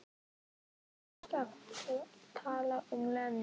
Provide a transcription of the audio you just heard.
Þú varst að tala um Lenu.